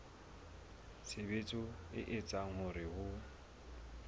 tshebetso e etsang hore ho